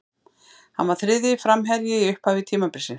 Hann var þriðji framherji í upphafi tímabilsins.